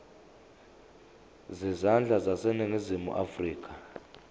zezandla zaseningizimu afrika